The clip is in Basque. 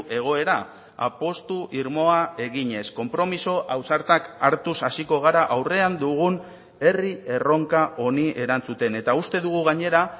egoera apustu irmoa eginez konpromiso ausartak hartuz hasiko gara aurrean dugun herri erronka honi erantzuten eta uste dugu gainera